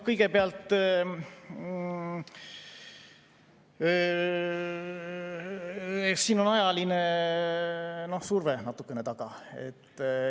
Kõigepealt, siin on ajaline surve natukene taga.